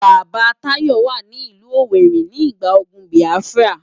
Baba Tayo wá ni ilù Owéri nigbá ógùn Biáfirá